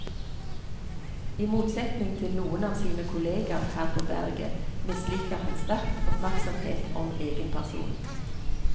I motsetning til noen av sine kolleger her på berget misliker han sterkt oppmerksomhet om egen person.